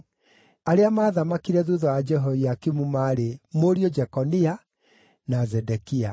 Arĩa maathamakire thuutha wa Jehoiakimu maarĩ: mũriũ Jekonia na Zedekia.